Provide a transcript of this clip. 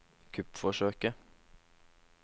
kuppforsøket